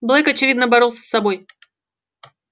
блэк очевидно боролся с собой